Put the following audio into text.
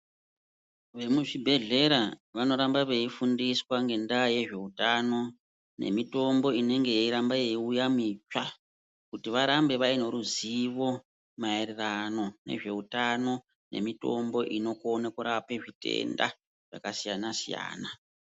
Vemuzvibhedhlera vanoramba veyifundiswa ngendaa yezveutano nemitombo inonge yeiramba yeyiuya mitsva, kuti varambe vayine ruzivo mayererano nezveutano nemitombo inokone kurapa zvitenda zvakasiyana-siyana.